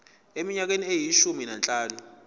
eminyakeni eyishumi nanhlanu